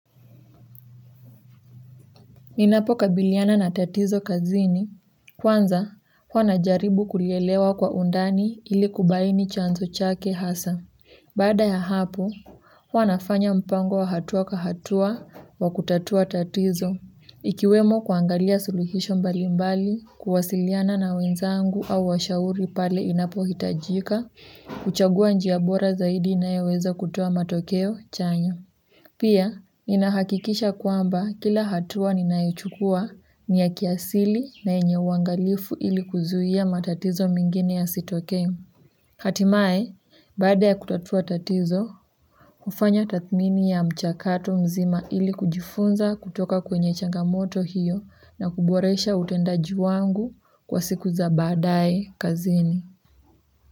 Ninapokabiliana na tatizo kazini. Kwanza, huwa najaribu kulielewa kwa undani ili kubaini chanzo chake hasa. Baada ya hapo, huwa nafanya mpango wa hatua kwa hatua wa kutatua tatizo. Ikiwemo kuangalia suluhisho mbali mbali, kuwasiliana na wenzangu au washauri pale inapohitajika, kuchagua njia bora zaidi inayoweza kutoa matokeo, chanya. Pia, ninahakikisha kwamba kila hatua ninaichukua ni ya kiasili na yenye uangalifu ili kuzuia matatizo mingine yasitokee. Hatimaye baada ya kutatua tatizo hufanya tathmini ya mchakato mzima ili kujifunza kutoka kwenye changamoto hiyo na kuboresha utendaji wangu kwa siku za baadae kazini.